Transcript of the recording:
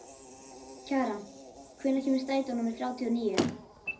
Kjaran, hvenær kemur strætó númer þrjátíu og níu?